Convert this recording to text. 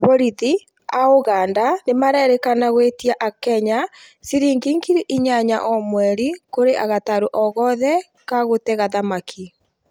Bolithi, a ũganda nĩ mararekana gũĩtia a Kenya cilingi ngiri inyanaya o mweri kuri gatarũ o gothe ka gũtega thamaki.